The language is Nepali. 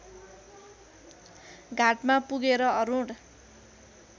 घाटमा पुगेर अरुण